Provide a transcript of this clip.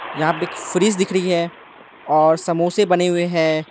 यहां पे एक सृज दिख रही है और समोसे बने हुए हैं।